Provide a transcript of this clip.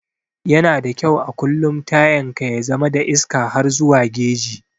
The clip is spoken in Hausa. Yana da kyau a kullum tayan ka ya zama da iska har zuwa geji.